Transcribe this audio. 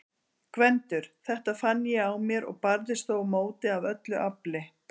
GVENDUR: Þetta fann ég á mér- og barðist þó á móti af öllu afli.